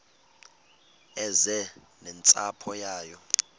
eze nentsapho yayo